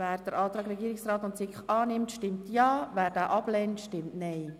Wer den Antrag Regierungsrat und SiK annimmt, stimmt Ja, wer diesen ablehnt, stimmt Nein.